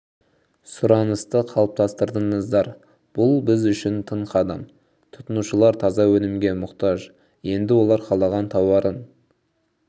сұранысты қалыптастырдыңыздар бұл біз үшін тың қадам тұтынушылар таза өнімге мұқтаж енді олар қалаған тауарын